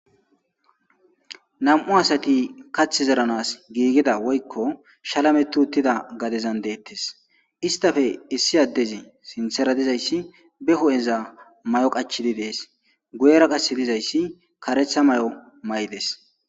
Nam'u asati kaththa zerrans giigida woykko shalameti uttida gadezan dettes isstappe issi adeezi sinththera dizaysi be huphpheza maayo qachchidi des guyera qasse dizaysi kareththa maayo mayides.